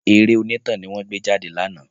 Eré onítàn ni wọ́n gbé jáde ní àná